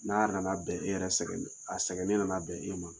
N'a nana bɛn e yɛrɛ sɛgɛnen a sɛgɛnen nana bɛn e ma.